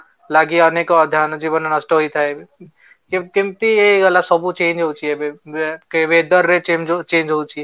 ଲାଗିକି ଅନେକ ଅଧୟନ ଜୀବନ ନଷ୍ଟ ହେଇଥାଏ କେମିତି ଇଏ ହେଇଗଲା ସବୁ change ହେଉଛି ଏବେ ବି କେବେ ଯୋଗୁ change ହଉଚି